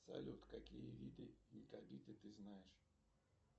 салют какие виды якобиты ты знаешь